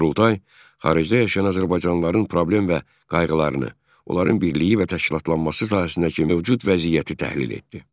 Qurultay xaricdə yaşayan azərbaycanlıların problem və qayğılarını, onların birliyi və təşkilatlanması sahəsindəki mövcud vəziyyəti təhlil etdi.